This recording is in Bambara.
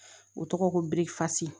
O tɔgɔ ko birikifasi